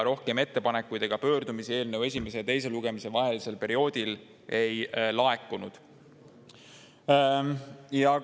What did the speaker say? Rohkem ettepanekuid ega pöördumisi eelnõu esimese ja teise lugemise vahelisel perioodil ei laekunud.